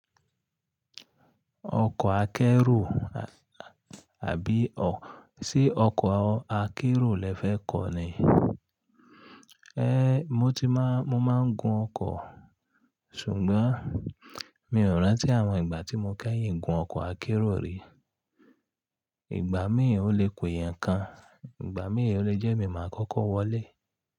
Ọkọ̀ akẹ́ro, àbí ò, ṣe ọkọ̀ akẹ́ro lẹ fẹ́ kọ̀ ni? Eh, mo ti má, mo máa ń gun ọkọ̀, ṣùgbọ́n mi ò rántí àwọn ìgbà tí mo kẹ́yìn gun ọkọ̀ akẹ́ro rí. Ìgbà míì o le pè ẹ́ nǹkan, ìgbà míì o le jẹ́ màá kọ́kọ́ wọlé.